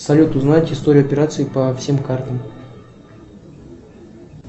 салют узнать историю операций по всем картам